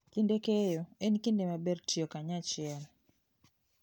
Kinde keyo, en kinde maber tiyo kanyachiel.